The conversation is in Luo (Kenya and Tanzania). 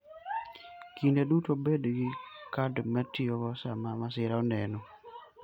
Kinde duto bed gi kad mitiyogo sama masira oneno.